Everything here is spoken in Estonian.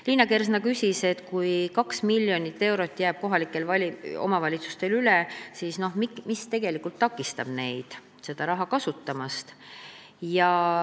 Liina Kersna küsis, et kui 2 miljonit eurot jääb kohalikel omavalitsustel üle, siis mis takistab neid seda raha kasutamast.